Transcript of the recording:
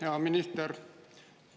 Hea minister!